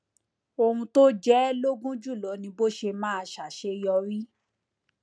ohun tó jẹ ẹ lógún jùlọ ni bó ṣe máa ṣàṣeyọrí